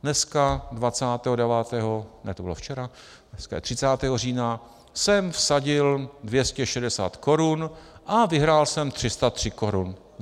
Dneska, 29., ne, to bylo včera, dneska je 30. října, jsem vsadil 260 korun a vyhrál jsem 303 korun.